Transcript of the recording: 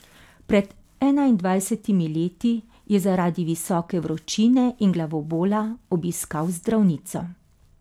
Pred enaindvajsetimi leti je zaradi visoke vročine in glavobola obiskal zdravnico.